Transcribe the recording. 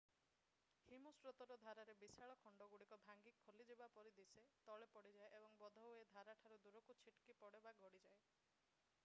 ହିମସ୍ରୋତର ଧାରରେ ବିଶାଳ ଖଣ୍ଡଗୁଡ଼ିକ ଭାଙ୍ଗି ଖୋଲିଯିବା ପରି ଦିଶେ ତଳେ ପଡିଯାଏ ଏବଂ ବୋଧହୁଏ ଧାରଠାରୁ ଦୂରକୁ ଛିଟିକି ପଡ଼େ ବା ଗଡ଼ି ଯାଏ